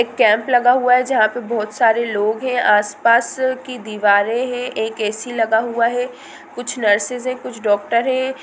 एक कैम्प लगा हुआ है जहाँ पे बहुत सारे लोग है| आस पास की दिवारे है| एक ए_सी लगा हुआ है कुछ नर्सेस है| कुछ डॉक्टर है।